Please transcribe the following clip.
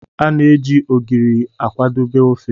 A na-eji Ogiri akwadebe ofe.